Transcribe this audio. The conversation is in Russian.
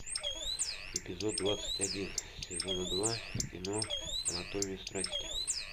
эпизод двадцать один сезона два кино анатомия страсти